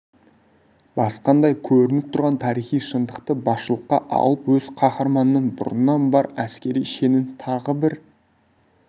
басқандай көрініп тұрған тарихи шындықты басшылыққа алып өз қаһарманының бұрыннан бар әскери шенін тағы бір